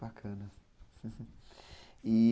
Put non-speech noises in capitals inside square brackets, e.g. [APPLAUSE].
Bacana. [LAUGHS]